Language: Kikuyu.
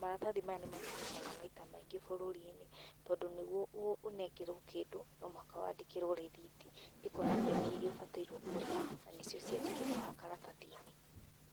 maratathi maya nĩmatũmĩkaga maita maingĩ bũrũri-inĩ tondũ nĩguo ũnengerwo kĩndũ no mũhaka wandĩkĩrwo rithiti ĩkonania mbia iria ũbataire kũrĩha na nĩcio ciandĩkĩtwo haha karatathi-inĩ.